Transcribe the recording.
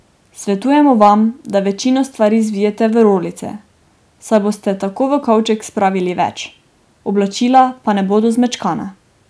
Svetujemo vam, da večino stvari zvijete v rolice, saj boste tako v kovček spravili več, oblačila pa ne bodo zmečkana.